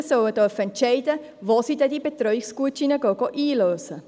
Eltern sollen entscheiden dürfen, wo sie diese Betreuungsgutscheine einlösen.